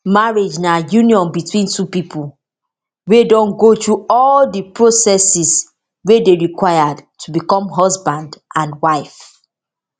marriage na union between two pipo wey don go through all of di processes wey dey required to become husband and wife